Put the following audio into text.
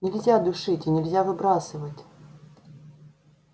нельзя душить и нельзя выбрасывать